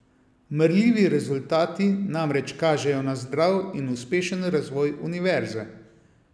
Merljivi rezultati namreč kažejo na zdrav in uspešen razvoj univerze.